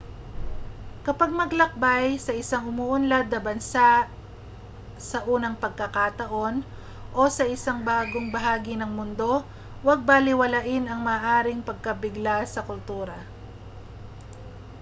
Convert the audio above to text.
kapag maglakbay sa isang umuunlad na bansa sa unang pagkakataon o sa isang bagong bahagi ng mundo huwag balewalain ang maaaring pagkabigla sa kultura